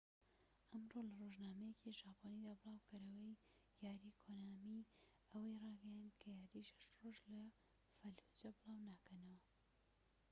ئەمڕۆ لە رۆژنامەیەکی ژاپۆنیدا بڵاوکەرەوەی یاری کۆنامی ئەوەی ڕایگەیاند کە یاری شەش ڕۆژ لە فەلوجە بڵاو ناکەنەوە